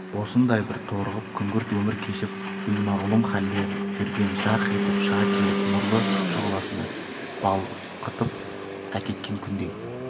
осындай бір торығып күңгірт өмір кешіп беймағлұм хәлде жүргенде жарқ етіп шыға келіп нұрлы шұғыласына балқытып әкеткен күндей